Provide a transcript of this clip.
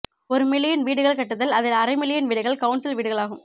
ஒரு மில்லியன் வீடுகள் கட்டுதல் அதில் அரை மில்லியன் வீடுகள் கவுன்சில் வீடுகளாகும்